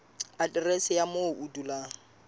aterese ya moo o dulang